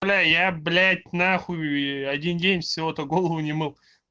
бля я блять нахуй один день всего-то голову не мыл